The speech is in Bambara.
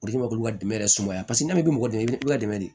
O de kama k'olu ka dɛmɛ yɛrɛ sumaya n'a ma kɛ mɔgɔ dɛmɛ i bɛ dɛmɛ de